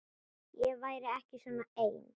Ég væri ekki svona ein.